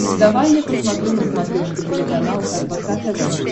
давай я посмотрю на смотрешке телеканал рбк тв